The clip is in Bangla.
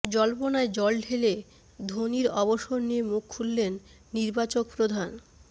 জল্পনায় জল ঢেলে ধোনির অবসর নিয়ে মুখ খুললেন নির্বাচক প্রধান